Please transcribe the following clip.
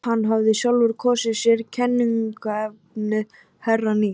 Hann hafði sjálfur kosið sér kenninafnið Herrann í